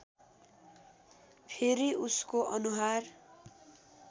फेरि उसको अनुहार